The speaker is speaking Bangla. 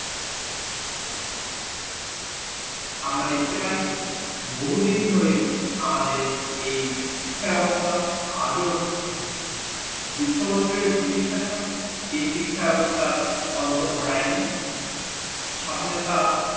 আমরা দেখতে পাই বহুদিন ধরে আমাদের এই শিক্ষা ব্যাবস্থা আজ ও হচ্ছে দুশো বছরের ব্রিটিশ শাসক এই শিক্ষা ব্যাবস্থার অন্তর ঘটাইনি স্বাধিনতা